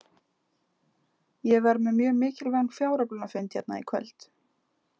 Ég verð með mjög mikilvægan fjáröflunarfund hérna í kvöld.